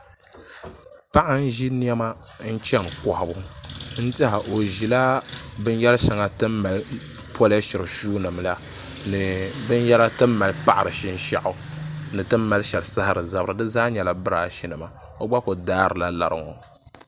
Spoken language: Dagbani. Paɣa n ʒi niɛma n chɛni kohabu n tiɛha o ʒila binyɛri shɛŋa ti ni mali polishiri shuu nim la ni binyɛra ti ni mali paɣari shinshaɣu ni ti ni mali shɛli saɣari zabiri di zaa nyɛla birash nima o gba ku daarila lari ŋo